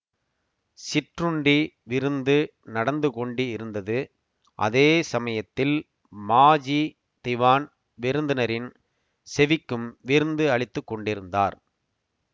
சிற்றுண்டி விருந்து நடந்து கொண்டிருந்தது அதே சமயத்தில் மாஜி திவான் விருந்தினரின் செவிக்கும் விருந்து அளித்து கொண்டிருந்தார்